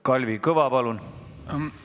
Kalvi Kõva, palun!